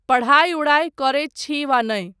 पढ़ाई उढ़ाई करैत छी वा नहि?